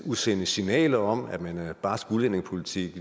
udsende signaler om at man har en barsk udlændingepolitik